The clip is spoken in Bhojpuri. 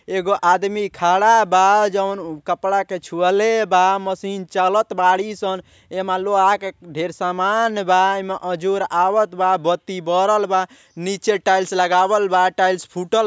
एगो आदमी खड़ा बा जोन कपड़ा के छुअले बा। मशीन चलत बाड़ी सन। एमा लोहा के ढ़ेर सामान बा। एमा अजोर आवत बा। बत्ती बरल बा। नीचे टाइल्स लगावल बा। टाइल्स फुटल --